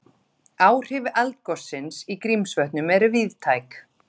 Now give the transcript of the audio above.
Áhrif eldgossins í Grímsvötnum eru víðtæk